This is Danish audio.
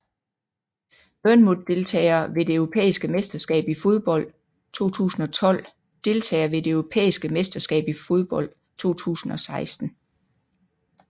Bournemouth Deltagere ved det europæiske mesterskab i fodbold 2012 Deltagere ved det europæiske mesterskab i fodbold 2016